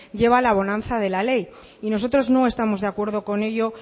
lleva la bonanza de la ley y nosotros no estamos de acuerdo con ello